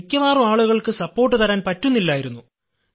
മിക്കവാറും ആളുകൾക്ക് പിന്തുണ തരാൻ പറ്റുന്നില്ലായിരുന്നു